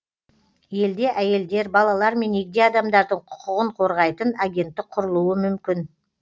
елде әйелдер балалар мен егде адамдардың құқығын қорғайтын агенттік құрылуы мүмкін